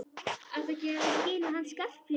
Ertu að gefa í skyn að hann Skarphéðinn.